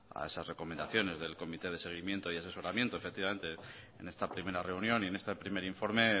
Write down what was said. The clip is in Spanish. a esas recomendaciones del comité de seguimiento y asesoramiento efectivamente en esta primera reunión y en este primer informe